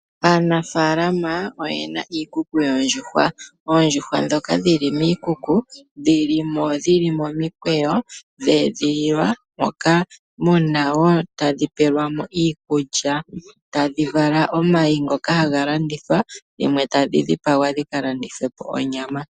Aanafalama oyena iikuku yoondjuhwa. Oondjuhwa ndhoka dhili miikuku dhilimo dhili momikweyo dha edhililwa, moka tadhi pelwamo iikulya tadhi vala omayi, ngoka haga landithwa dhimwe tadhi dhipagwa dhika landithwe onyama.